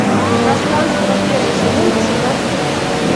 пространство первый сезон восемнадцатый эпизод